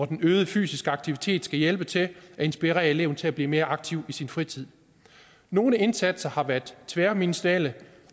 den øgede fysiske aktivitet hjælpe til at inspirere eleven til at blive mere aktiv i sin fritid nogle indsatser har været tværministerielle